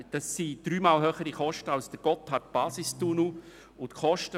Das sind dreimal höhere Kosten, als sie der Gotthardbasistunnel generiert hat.